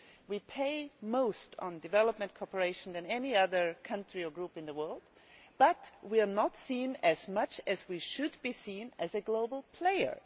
We spend more on development cooperation than any other country or group in the world, but we are not seen as much as we should be as a global player.